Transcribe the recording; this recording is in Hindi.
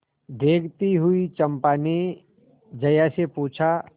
देखती हुई चंपा ने जया से पूछा